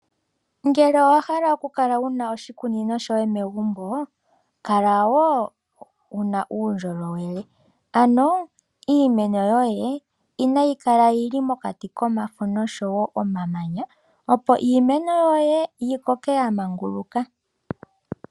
Ngele owahala oku kala wuna oshikunino shoye megumbo, owuna oku kala wo wuna uundjolowelele, ano iimeno yoye inayi kala yili mokati komafo nomamanya, opo iimeno yoye yi koke ya manguluka.